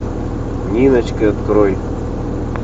ниночка открой